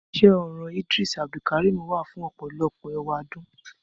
Iṣẹ orọn Idris Abdulkarim wa fun ọpọlọpọ ewadun.